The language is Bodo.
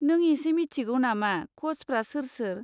नों इसे मिथिगौ नामा क'चफ्रा सोर सोर?